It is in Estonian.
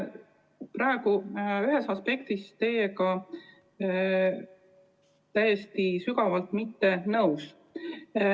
Ma olen ühes aspektis teiega täiesti sügavalt eriarvamusel.